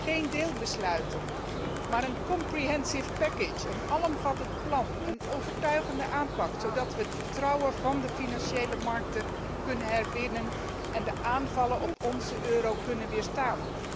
Geen deelbesluiten, maar een alomvattend plan, een overtuigende aanpak, zodat we het vertrouwen van de financiële markten kunnen herwinnen en de aanvallen op onze euro kunnen weerstaan.